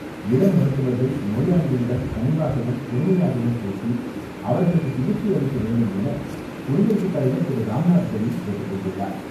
இளம் மருத்துவர்கள் நோயாளிகளிடம் கனிவாகவும், பொறுமையாகவும் பேசி அவர்களுக்கு சிகிச்சை அளிக்க வேண்டும் என குடியரசு தலைவர் திரு ராம்நாத் கோவிந்த் கேட்டுக் கொண்டுள்ளார்.